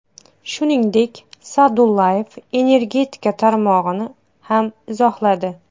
Shuningdek, Sa’dullayev energetika tarmog‘ini ham izohladi.